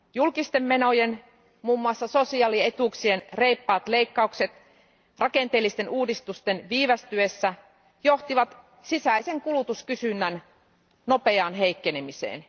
Julkisten menojen, muun muassa sosiaalietuuksien, reippaat leikkaukset rakenteellisten uudistusten viivästyessä johtivat sisäisen kulutuskysynnän nopeaan heikkenemiseen.